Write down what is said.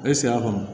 E sigi a kɔnɔ